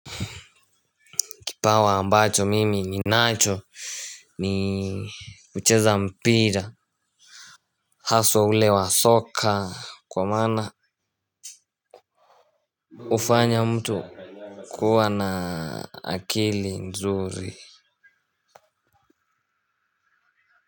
Kipawa ambacho mimi ni nacho ni kucheza mpira. Haswa ule wa soka kwa maana ufanya mtu kuwa na akili nzuri.